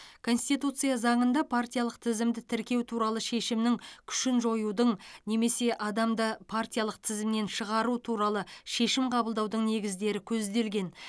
конституция заңында партиялық тізімді тіркеу туралы шешімнің күшін жоюдың немесе адамды партиялық тізімнен шығару туралы шешім қабылдаудың негіздері көзделген